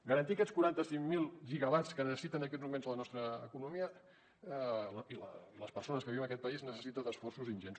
garantir aquests quaranta cinc mil gigawatts que necessiten en aquests moments la nostra economia i les persones que viuen en aquest país necessita esforços ingents